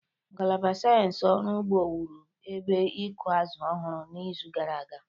Ngalaba sayensị ọrụ ugbo wụrụ ebe ịkụ azụ̀ ọhụrụ n'izu gara aga.